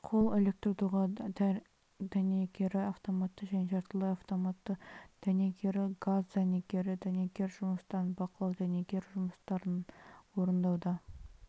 қол электрдоға дәнекері автоматты және жартылай автоматты дәнекері газ дәнекері дәнекер жұмыстарын бақылау дәнекер жұмыстарын орындауда